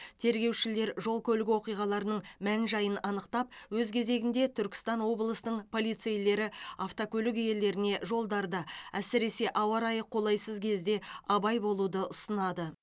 тергеушілер жол көлік оқиғаларының мән жайын анықтап өз кезегінде түркістан облысының полицейлері автокөлік иелеріне жолдарда әсіресе ауа райы қолайсыз кезде абай болуды ұсынады